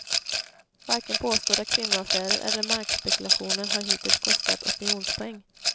Varken påstådda kvinnoaffärer eller markspekulationer har hittills kostat opinionspoäng.